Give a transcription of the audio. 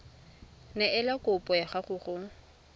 neela kopo ya gago go